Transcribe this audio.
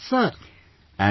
Yes sir...